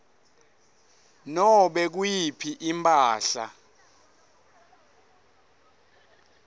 nobe nguyiphi imphahla